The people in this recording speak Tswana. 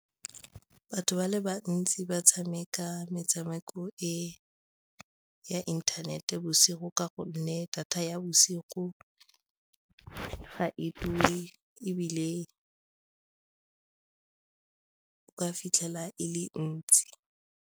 Batho ba le bantsi ba tshameka metshameko e ya inthanete bosigo ka gonne data ya bosigo ga e dule ebile ba fitlhela e le ntsi.